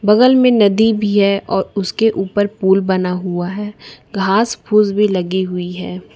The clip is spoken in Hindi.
बगल में नदी भी है और उसके ऊपर पुल बना हुआ है घास फूस भी लगी हुई है।